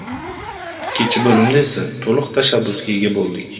Ikkinchi bo‘limda esa to‘liq tashabbusga ega bo‘ldik.